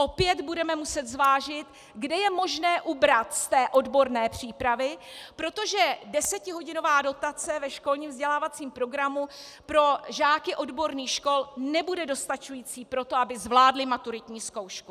Opět budeme muset zvážit, kde je možné ubrat z té odborné přípravy, protože desetihodinová dotace ve školním vzdělávacím programu pro žáky odborných škol nebude dostačující pro to, aby zvládli maturitní zkoušku.